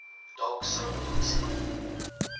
dalk sou belangstel